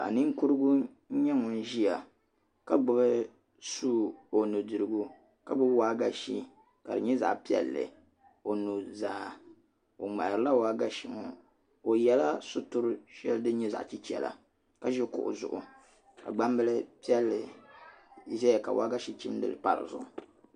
Ninkurugu n nyɛ ŋun ʒiya ka gbubi sua o nudirigu ka gbubi waagashe ka di nyɛ zaɣ' piɛlli o nuzaa o ŋmaharila waagashe ŋo o yɛla situri shɛli din nyɛ zaɣ' chichɛra ka ʒi kuɣu zuɣu ka gbanbili ʒɛya ka waagashe chindili pa dizuɣu